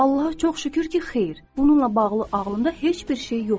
Allaha çox şükür ki, xeyr, bununla bağlı ağlımda heç bir şey yox idi.